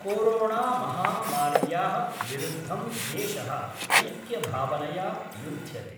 कोरोणामहामार्या: विरुद्धं देश: ऐक्यभावनया युद्ध्यते।